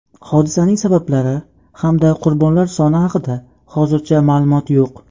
Hodisaning sabablari hamda qurbonlar soni haqida hozircha ma’lumot yo‘q.